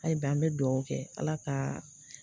A yi bi an mɛ duwɔwu kɛ Ala ka